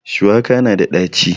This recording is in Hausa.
Shuwaka na da ɗaci